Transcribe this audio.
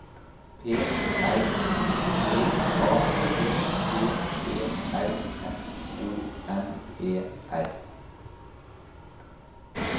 P R I V A T P E R S O N E R